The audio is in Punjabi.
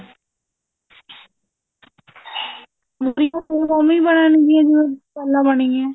ਮੁਰ੍ਹੀ ਤਾਂ ਓਵੇਂ ਹੀ ਬਣਨ ਗੀਆਂ ਜਿਵੇਂ ਪਹਿਲਾਂ ਬਣਗੀਆਂ